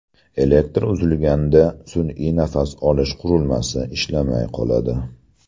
Elektr uzilganda sun’iy nafas olish qurilmasi ishlamay qoladi.